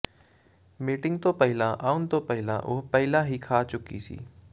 meeting ਤੋਂ ਪਹਿਲਾਂ ਆਉਣ ਤੋਂ ਪਹਿਲਾਂ ਉਹ ਪਹਿਲਾਂ ਹੀ ਖਾ ਚੁੱਕੀ ਸੀ